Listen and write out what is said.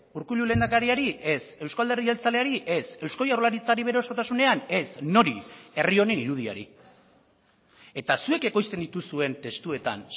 urkullu lehendakariari ez eusko alderdi jeltzaleari ez eusko jaurlaritzari bere osotasunean ez nori herri honen irudiari eta zuek ekoizten dituzuen testuetan